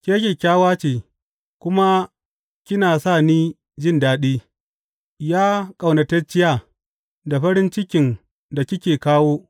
Ke kyakkyawa ce kuma kina sa ni jin daɗi, Ya ƙaunatacciya, da farin cikin da kike kawo!